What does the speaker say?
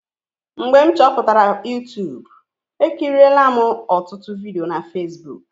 Mgbe m chọpụtara Yutubu, ekirila m ọtụtụ vidiyo na Fesbuk.